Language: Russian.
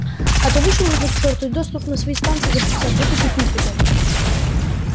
а то вышвырнут к чёрту и доступ на свои станции запретят вот и кукуй потом